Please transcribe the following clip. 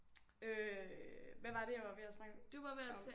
Øh hvad var det jeg var ved at snakke om